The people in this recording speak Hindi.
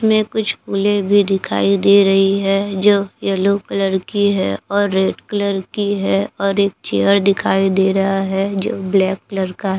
में कुछ फूले भी दिखाई दे रही है जो येलो कलर की है और रेड कलर की है और एक चेयर दिखाई दे रहा है जो ब्लैक कलर का--